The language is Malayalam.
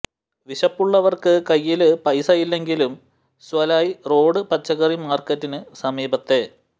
വിശപ്പുള്ളവര്ക്ക് കൈയ്യില് പൈസ ഇല്ലെങ്കിലും സല്വാ റോഡ് പച്ചക്കറി മാര്ക്കറ്റിന് സമീപത്തെ